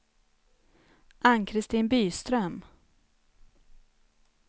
Ann-Kristin Byström